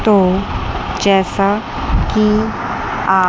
तो जैसा कि आप--